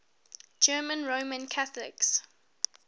german roman catholics